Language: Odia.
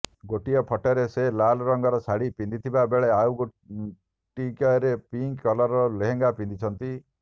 ଗୋଟିଏ ଫଟୋରେ ସେ ଲାଲ ରଙ୍ଗର ଶାଢ଼ୀ ପିନ୍ଧିଥିବା ବେଳେ ଆଉ ଗୋଟିଏରେ ପିଙ୍କ କଲରର ଲେହେଙ୍ଗା ପିନ୍ଧିଛନ୍ତି